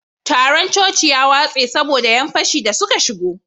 taron coci ya watse saboda yan fashi da suka shigo